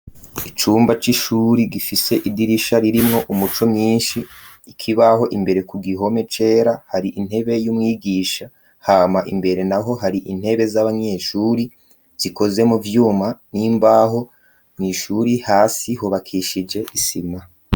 Icumba c'ishuri gifise idirisha ririmwo umuco mwinshi ikibaho imbere ku gihome cera hari intebe y'umwigisha hama imbere naho hari intebe z'abanyeshure zikoze mu vyuma n'imbaho mw'ishure hasi hubakishije isima.